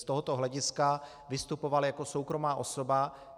Z tohoto hlediska vystupoval jako soukromá osoba.